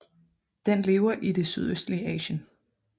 Den lever i det sydøstlige Asien